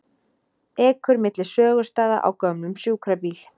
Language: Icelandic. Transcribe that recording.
Ekur milli sögustaða á gömlum sjúkrabíl